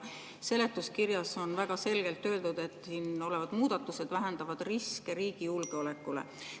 Seletuskirjas on väga selgelt öeldud, et siin olevad muudatused vähendavad riske riigi julgeoleku suhtes.